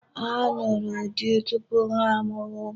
Ha nụrụ di tupu ha amụwa ụmụ.